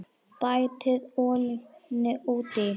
Bætið olíunni út í.